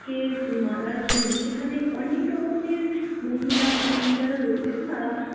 কে মালার জন্য সেখানে অনেক রকমের মহিলা পুরুষ যারা রয়েছেন তারা